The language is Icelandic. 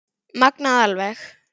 Magnað alveg.